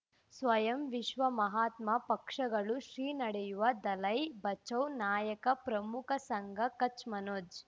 ಸ್ವಯಂ ವಿಶ್ವ ಮಹಾತ್ಮ ಪಕ್ಷಗಳು ಶ್ರೀ ನಡೆಯೂವ ದಲೈ ಬಚೌ ನಾಯಕ ಪ್ರಮುಖ ಸಂಘ ಕಚ್ ಮನೋಜ್